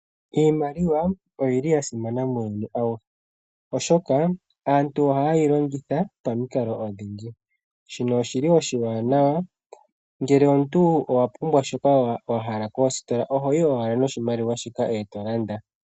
Iimaliwa oyili ya simana muuyuni awuhe, Oshoka aantu ohayeyi longitha pamikalo odhindji shino oshili oshiwanawa. ngele omuntu owuna shoka wahala koositola ohoyi owala noshimaliwa shoka etolanda.